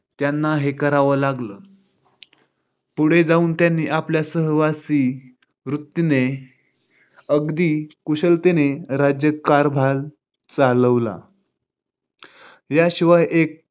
त्याना हे कराव लागल. पुढे जाऊन त्यांनी आपल्या साहसी वृत्तीने अगदी कुशलतेने राज्यकारभार चालवला. याशिवाय एक